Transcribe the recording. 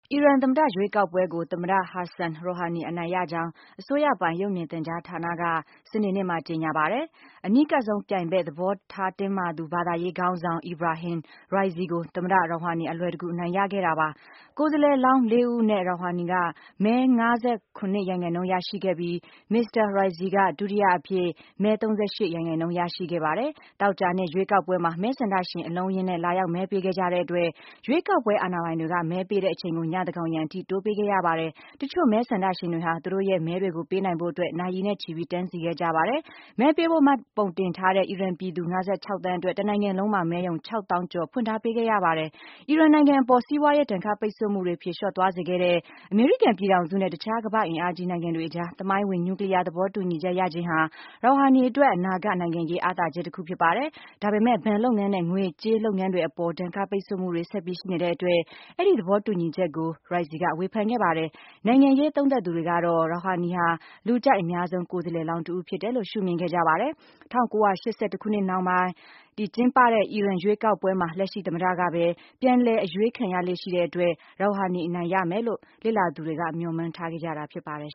အီရန်သမ္မတ ရွေးကောက်ပွဲကို သမ္မတ Hassan Rouhani အနိုင်ရခဲ့ကြောင်း အစိုးရပိုင် ရုပ်မြင်သံကြားဌာနက စနေနေ့မှာကြေညာပါတယ်။ အနီးကပ်ဆုံးပြိုင်ဘက် သဘောထားတင်းမာသူ ဘာသာရေးခေါင်းဆောင် Ebrahim Raisi ကို သမ္မတ Rouhani အလွယ်တကူအနိုင်ရခဲ့တာပါ။ ကိုယ်စားလှယ်လောင်း ၄ ဦးအနက် Rouhani က မဲ ၅၇ ရာခိုင်နှုန်းရရှိခဲ့ပြီး မစ္စတာ Raisi က ဒုတိယအဖြစ် မဲ ၃၈ ရာခိုင်နှုန်းရရှိခဲ့ပါတယ်။ သောကြာနေ့ ရွေးကောက်ပွဲမှာ မဲဆန္ဒရှင် အလုံးအရင်းနဲ့လာရောက်မဲပေးကြတဲ့အတွက် ရွေးကောက်ပွဲ အာဏာပိုင်တွေက မဲပေးတဲ့အချိန်ကို ညသန်းခေါင်ယံအထိတိုးပေးခဲ့ရပါတယ်။ တချို့မဲဆန္ဒရှင်တွေဟာ သူတို့ရဲ့မဲကိုပေးနိုင်ဖို့အတွက် နာရီနဲ့ချီပြီး တန်းစီခဲ့ကြပါတယ်။ မဲပေးဖို့မှတ်ပုံတင်ထားတဲ့ အီရန်ပြည်သူ ၅၆ သန်းအတွက် တနိုင်ငံလုံးမှာ မဲရုံ ၆ သောင်းကျော် ဖွင့်ထားပေးခဲ့ရပါတယ်။ အီရန်နိုင်ငံအပေါ် စီးပွားရေးဒဏ်ခတ်ပိတ်ဆို့မှုတွေ ဖြေလျော့သွားစေခဲ့တဲ့ အမေရိကန်ပြည်ထောင်စုနဲ့ တခြား ကမ္ဘာ့အင်အားကြီးနိုင်ငံတွေအကြား သမိုင်းဝင် နျူးကလီးယား သဘောတူညီချက်ရခဲ့ခြင်းဟာ Rouhani ရဲ့အနာဂတ်နိုင်ငံရေးအားသာချက်တခုဖြစ်ပါတယ်။ ဒါပေမယ့် ဘဏ်လုပ်ငန်းနဲ့ ငွေကြးလုပ်ငန်းတွေအပေါ် ဒဏ်ခတ်ပိတ်ဆို့မှုတွေ ဆက်ပြီးရှိနေတဲ့အတွက် အဲဒီ သဘောတူညီချက်ကို Raisi က ဝေဖန်ခဲ့ပါတယ်။ နိုင်ငံရေးသုံးသပ်သူတွေကတော့ Rouhani ဟာ လူကြိုက်အများဆုံးကိုယ်စားလှယ်လောင်း တဦးဖြစ်တယ်လို့ ရှုမြင်ခဲ့ကြပါတယ်။ ၁၉၈၁ ခုနှစ်နောက်ပိုင်း ကျင်းပတဲ့ အီရန်ရွေးကောက်ပွဲတွေမှာ လက်ရှိသမ္မတကပဲ ပြန်လည်အရွေးခံခဲ့ရတဲ့အတွက် Rouhani အနိုင်ရမယ်လို့ လေ့လာသူတွေက ခန့်မှန်းထားခဲ့ကြတာဖြစ်ပါတယ်